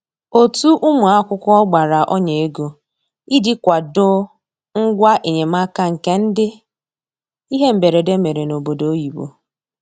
Otu ụmụ akwụkwọ gbara ọnya ego iji kwado ngwa enyemaka nke ndị ihe mberede mere n'obodo oyibo